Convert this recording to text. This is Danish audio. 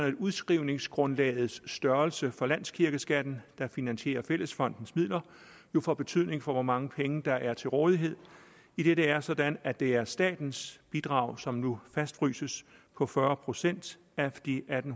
at udskrivningsgrundlagets størrelse fra landskirkeskatten der finansierer fællesfondens midler jo får betydning for hvor mange penge der er til rådighed idet det er sådan at det er statens bidrag som nu fastfryses på fyrre procent af de atten